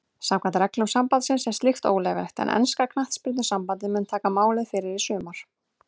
Samkvæmt reglum sambandsins er slíkt óleyfilegt en enska knattspyrnusambandið mun taka máið fyrir í sumar.